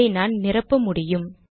இதை நான் நிரப்ப முடியும்